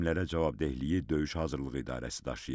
Təlimlərə cavabdehliyi döyüş hazırlığı idarəsi daşıyıb.